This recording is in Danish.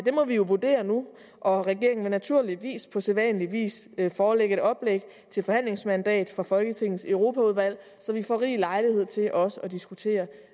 må vi jo vurdere nu og regeringen vil naturligvis på sædvanlig vis forelægge et oplæg til forhandlingsmandat fra folketingets europaudvalg så vi får rig lejlighed til også at diskutere